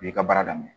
I y'i ka baara daminɛ